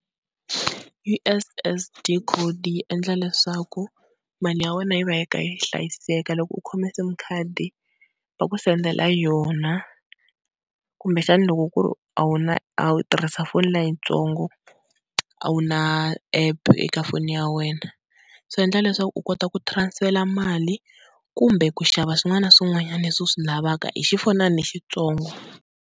U_S_S_D code yi endla leswaku mali ya wena yi va yi kha yi hlayiseka, loko u khome sim card va ku sendela yona kumbexana loko ku ri a wu na, u tirhisa foni leyitsongo a wu na app eka foni ya wena, swi endla leswaku u kota ku transfer mali kumbe ku xava swin'wana na swin'wanyana leswi u swi lavaka hi xifonani lexitsongo.